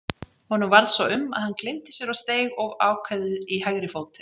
Honum varð svo um að hann gleymdi sér og steig of ákveðið í hægri fótinn.